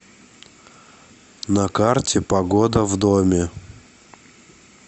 на карте погода в доме